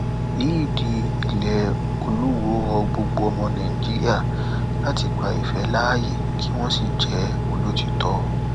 eid il olùwọ rọ gbogbo ọmọ nàìjíríà láti gba ìfẹ láàyè kí wọn sì jẹ olótìtọ